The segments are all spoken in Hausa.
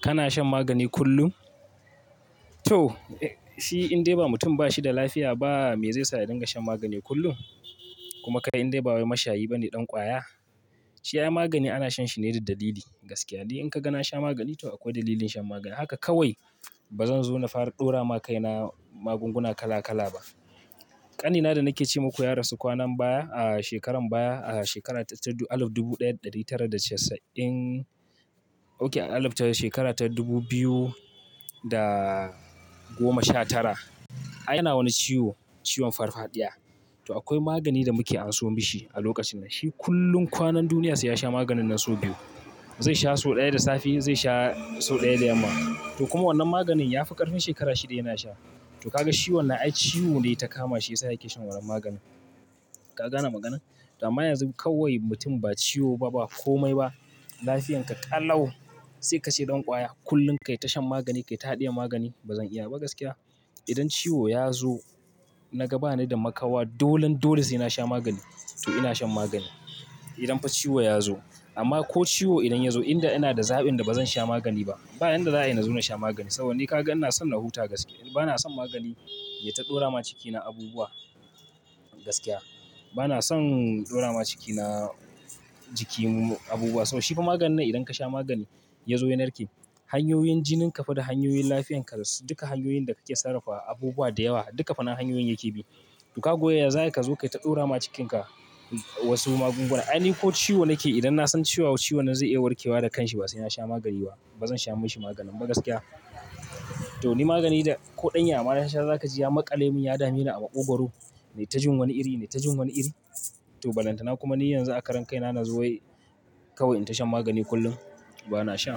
Kana shan magani kullum? To, shi in dai ba mutum ba shi da lafiya ba me zai sa ya dinga shan magani kullum? Kuma kai in dai ba wai mashayi ba ne ɗan ƙwaya? Shi ai magani ana shan shi ne da dalili. Gaskiya dai in ka ga na sha magani to akwai dalilin shan maganin. Haka kawai ba zan zo na fara ɗora ma kaina magunguna kala kala ba. Ƙanina da nake ce maku ya rasu kwanan baya a shekaran baya a shekara ta al ifta dubu ɗaya da ɗari tara da casa'in, okay a al ifta shekara ta dubu biyu da goma sha tara. Ai yana wani ciwo, ciwon farfadiya. To akwai magani da muke anso mishi a lokacin nan. Shi kullum kwanan duniya sai ya sha maganin nan sau biyu. Zai sha sau ɗaya da safe, zai sha sau ɗaya da yamma. To kuma wannan maganin ya fi ƙarfin shekara shida yana sha. To ka ga shi wannan ai ciwo ne ya ta kama shi ya sa yake shan wannan maganin. Ka gane maganar? To amma yanzu kawai mutum ba ciwo ba, ba komai ba. Lafiyanka ƙalau. Sai ka ce ɗan ƙwaya kullum kai ta shan magani, kai ta haɗiye magani. Ba zan iya ba gaskiya. Idan ciwo ya zo, naga ba ni da makawa, dolon dolos sai na sha magani. To ina shan magani. Idan fa ciwo ya zo. Amma ko ciwo idan ya zo inda ina da za'in da ba zan sha magani ba. Ba inda za'a ina zo na sha magani. Saboda ni ka ga ina son na huta gaskiya. Bana son magani ya ta ɗora ma cikina abubuwa gaskiya. Bana son ɗora ma cikina jikim mu abubuwa. Sabo shi fa maganin nan idan ka sha magani ya zo ya narki, hanyoyin jinin ka fi da hanyoyin lafiyan ka duka hanyoyin da kake sarrafa abubuwa da yawa duka fannan hanyoyin yake bi. To ka goya ya za ka zo kai ta ɗora ma cikinka wasu magunguna. Ai ni ko ciwo nake idan na san ciwon ciwon zai iya warke wa da kanshi ba sai na sha magani ba. Ba zan sha mishi maganin ba gaskiya. To ni magani da ko ɗanyen amana sha za ka ji ya maƙale mun, ya dami ni a maƙogwaru. Nai ta jin wani iri, nai ta jin wani iri. To balantana kuma ni yanzu a karen kaina na zo wai kawai in ta shan magani kullum. Ba na sha.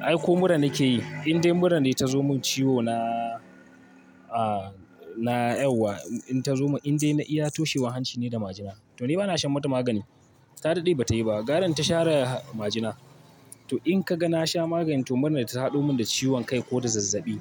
Ai ko murran nake yi. In dai murran ne ta zo mun ciwo na, a, na ƴauwa in ta zo mun, in dai na iya toshewa hanci ne da majina. To ni ba na shan mata magani. Ta daɗe ba ta yi ba. Garan ta share majina. To in ka ga na sha magani to murran ta ta haɗu mun da ciwon kai ko da zazzaɓi.